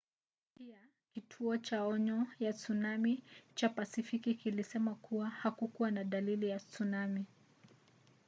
pia kituo cha onyo ya tsunami cha pasifiki kilisema kuwa hakukuwa na dalili ya tsunami